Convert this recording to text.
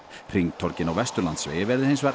hringtorgin á Vesturlandsvegi verði hins vegar